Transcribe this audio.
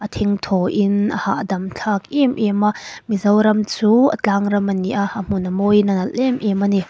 thengthaw in a hahdam thlak em em a mizoram chu a tlangram ani a a hmun a mawi in a nalh em em ani.